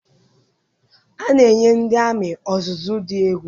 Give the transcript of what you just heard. A na-enye ndị amị ọzụzụ dị egwu